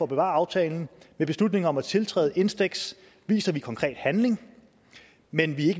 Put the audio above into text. bevare aftalen med beslutningen om at tiltræde instex viser vi konkret handling men vi er